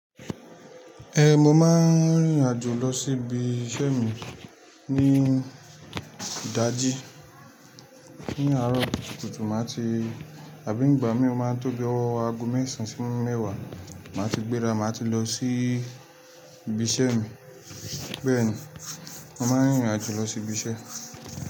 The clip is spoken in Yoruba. Eh, mo máa ń rìnrìn àjò lọ sí ibi iṣẹ́ mi ní ìdájí. Ni aarọ̀ kùtùkùtù màá ti, àbí nígbà mi ò máa tó gé ọwọ́ aago mẹ́sàn-án sí mẹ́wàá, màá ti gbéra, màá ti lọ sí ibi iṣẹ́ mi. Bẹ́ẹ̀ ni, mo máa ń rìnrìn àjò lọ sí ibi iṣẹ́